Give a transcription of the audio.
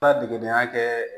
Ka degedenya kɛ